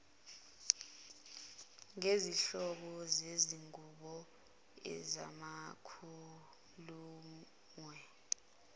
ngezinhlobo zezingubo amabhulukwe